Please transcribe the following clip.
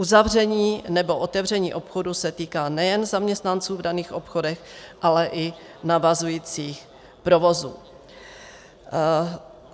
Uzavření nebo otevření obchodů se týká nejen zaměstnanců v daných obchodech, ale i navazujících provozů.